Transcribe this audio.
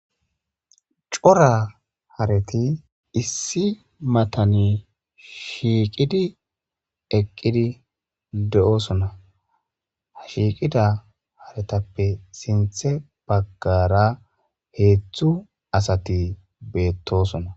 Coora hareti issi matani shiiqidi eqqidi de'osona ha shiiqida haretappe sinthe bagara hethu asati beettosona